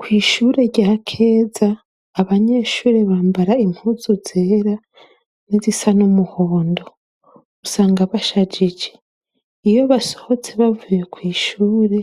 Ku ishuri rya Keza abanyeshuri bambara impuzu zera nizisa n'umuhondo, usanga bashajije iyo basohotse bavuye kw'ishuri